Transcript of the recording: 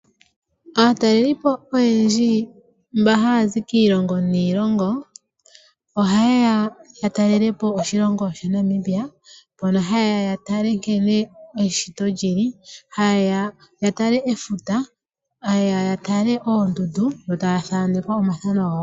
Aatalelipo oyendji mba haa zi kiilongo niilongo oha yeya oku talela po oshilongo shaNamibia mono hayeys okutala nkene eshito lyili hayeya ya tale efuta, hateya ya tale oondundu yo taa thanekwa omathano gawo.